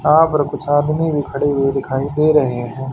यहां पर कुछ आदमी भी खड़े हुए दिखाई दे रहे हैं।